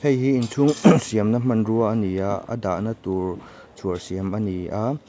hei hi inchhung siam na hmanrua a ni a a dahna tur chhuar siam ani a.